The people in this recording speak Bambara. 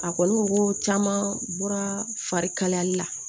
A kɔni ko caman bɔra fari kalayali la